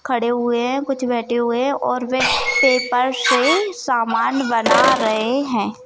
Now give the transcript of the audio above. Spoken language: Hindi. खड़े हुए है कुछ बैठे हुए है और वे पेपर से सामान बना रहे है।